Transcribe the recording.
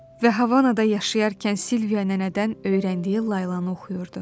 Və Havanada yaşayarkən Silviya nənədən öyrəndiyi laylanı oxuyurdu.